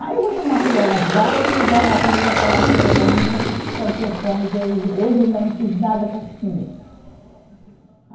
Aí eu vou chamar a fulana, vai cuidar da comida para dar comida para as meninas que estão com fome, que hoje eu ainda não fiz nada para se comer.